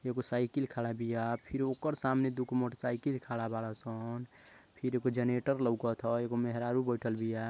एगो साइकिल खड़ा बिया फिर ओकर सामने दुगो मोटरसाइकिल खाड़ा बाड़न सन फिर एगो जनरेटर लउकत ह एगो मेहरारू बइठल बिया।